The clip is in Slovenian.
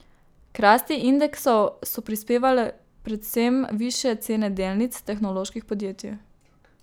K rasti indeksov so prispevale predvsem višje cene delnic tehnoloških podjetij.